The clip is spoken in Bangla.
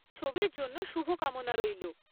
ছবির জন্য শুভকামনা রইল।